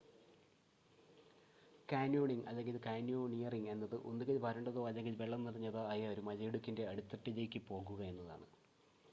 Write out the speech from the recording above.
canyoning അല്ലെങ്കിൽ: canyoneering എന്നത് ഒന്നുകിൽ വരണ്ടതോ അല്ലെങ്കിൽ വെള്ളം നിറഞ്ഞതോ ആയ ഒരു മലയിടുക്കിന്റെ അടിത്തട്ടിലേക്ക് പോകുക എന്നാണ്